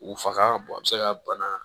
U faga a bɛ se ka bana